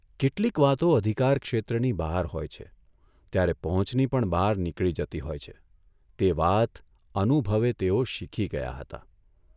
કેટલીક વાતો અધિકારક્ષેત્રની બહાર હોય છે ત્યારે પહોંચની પણ બહાર નીકળી જતી હોય છે તે વાત અનુભવે તેઓ શીખી ગયા હતા.